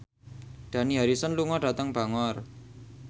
Dani Harrison lunga dhateng Bangor